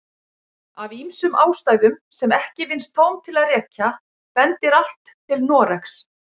Af ýmsum ástæðum sem ekki vinnst tóm til að rekja bendir allt til Noregs.